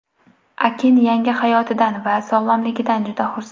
Akin yangi hayotidan va sog‘lomligidan juda xursand.